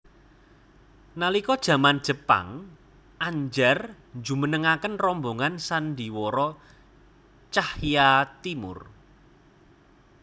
Nalika jaman Jepang Andjar njumenengaken rombongan sandhiwara Tjahja Timoer